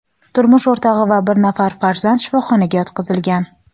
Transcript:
turmush o‘rtog‘i va bir nafar farzand shifoxonaga yotqizilgan.